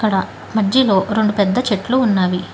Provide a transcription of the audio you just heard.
అక్కడ మధ్యలో రెండు పెద్ద చెట్లు ఉన్నవి.